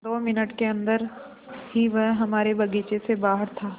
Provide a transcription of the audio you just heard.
दो मिनट के अन्दर ही वह हमारे बगीचे से बाहर था